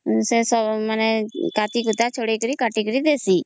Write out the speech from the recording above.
ସେ ସବୁ କାଟି କୁଟା ଛଡେଇକିରି କଟିକିରି ଦେଶି